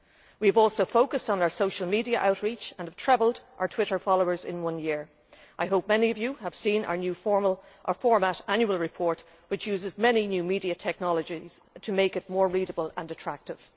We have also focused on our social media outreach and have trebled our Twitter followers in one year. I hope many of you have seen our new format annual report, which uses many new media technologies to make it more readable and attractive.